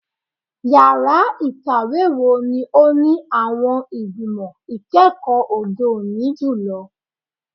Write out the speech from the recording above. Yara ikawe wo ni o ni awọn igbimọ ikẹkọ ode oni julọ?